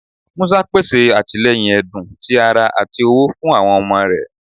Musa pese atilẹyin ẹdun, ti ara, ati owo fun awọn ọmọ rẹ.